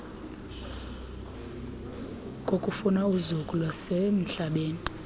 kokufuna uzuko lwasemhlabeni